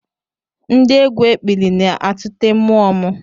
Ndị egwu ekpili na-atụte mmụọ m